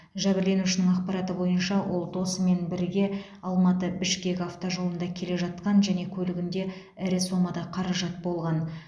жәбірленушінің ақпараты бойынша ол досымен бірге алматы бішкек автожолында келе жатқан және көлігінде ірі сомада қаражат болған